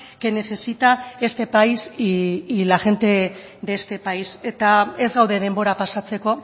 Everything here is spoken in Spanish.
que necesita este país y la gente de este país eta ez gaude denbora pasatzeko